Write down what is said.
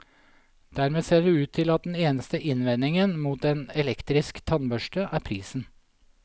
Dermed ser det ut til at den eneste innvendingen mot en elektrisk tannbørste, er prisen.